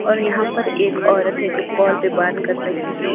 और यहां पर एक औरत है जो कॉल पे बात कर रही है।